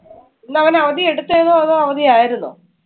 ഇന്നവൻ അവധി എടുത്തതായിരുന്നോ അതോ അവധി ആയിരുന്നോ?